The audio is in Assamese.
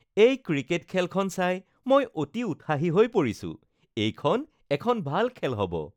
এই ক্ৰিকেট খেলখন চাই মই অতি উৎসাহী হৈ পৰিছোঁ! এইখন এখন ভাল খেল হ'ব।